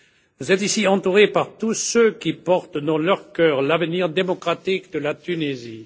Vous êtes ici entouré par tous ceux qui portent dans leur cœur l'avenir démocratique de la Tunisie.